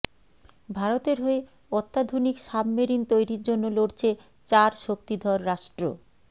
ভারতের হয়ে অত্যাধুনিক সাবমেরিন তৈরির জন্য লড়ছে চার শক্তিধর রাষ্ট্র